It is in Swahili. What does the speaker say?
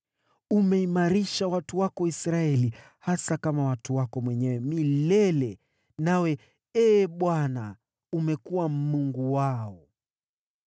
Umeimarisha watu wako Israeli hasa kama watu wako mwenyewe milele, nawe, Ee Bwana , umekuwa Mungu wao.